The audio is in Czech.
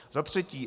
Za třetí.